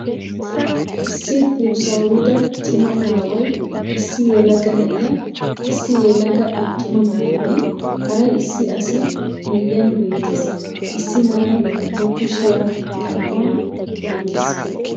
Issi buussawida cimma aaway, issi yelaga na'iya, issi yelaga attuma na'aynne hara issi asi miyiyan beettees. Issi na'ay ba kushiya xam'aa oyqqiis.